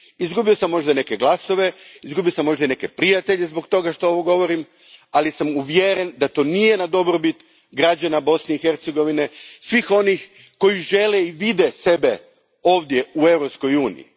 Izgubio sam možda neke glasove, izgubio sam možda i neke prijatelje zbog toga što ovo govorim, ali sam uvjeren da to nije na dobrobit građana Bosne i Hercegovine, svih onih koji žele i vide sebe ovdje u Europskoj uniji.